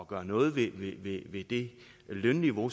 gøre noget ved ved det lønniveau